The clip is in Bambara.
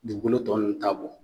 Dugukolo tɔ nunnu t'a bɔ